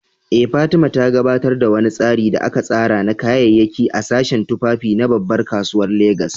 Eh, Fatima, ta gabatar da wani tsari da aka tsara na kayayyaki a sashen tufafi na babbar kasuwar Legas.